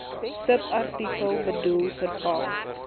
subartikel bedoel verval